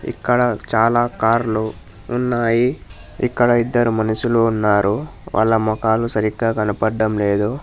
ఇక్కడ చాలా కార్లు ఉన్నాయి. ఇక్కడ ఇద్దరు మనుషులు ఉన్నారు వాళ్ళ మొఖాలు సరిగ్గా కనబడం లేదు.